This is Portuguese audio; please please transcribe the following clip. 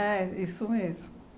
isso mesmo.